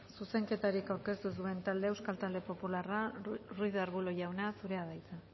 zuzenketarik aurkeztu ez duen taldea euskal talde popularra ruiz de arbulo jauna zurea da hitza